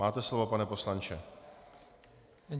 Máte slovo, pane poslanče.